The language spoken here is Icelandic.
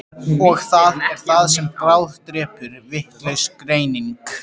Og það er það sem bráðdrepur, vitlaus greining.